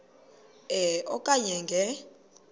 e okanye nge